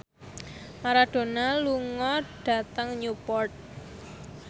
Maradona lunga dhateng Newport